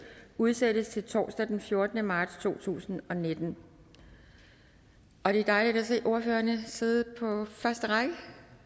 udsættes til torsdag den fjortende marts to tusind og nitten det er dejligt at se ordførerne sidde på første række